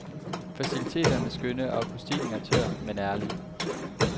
Faciliteterne er skønne, og akustikken er tør, men ærlig.